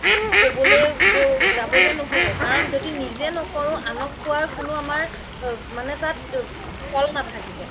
ক্'বলে যাবলে নহ'ব কাৰণ য্দি নিজে ন্কৰো আনক কুৱাৰ কোনো আমাৰ মানে তাত